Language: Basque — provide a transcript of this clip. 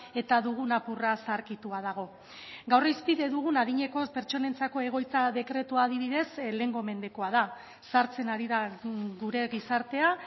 eta dugun apurra zaharkitua dago gaur hizpide dugun adineko pertsonentzako egoitza dekretua adibidez lehengo mendekoa da zahartzen ari da gure gizartea